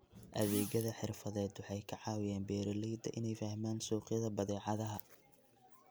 Adeegyada xirfadeed waxay ka caawiyaan beeralayda inay fahmaan suuqyada badeecadaha.